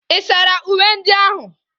Ị̀ sara uwe ndị ahụ?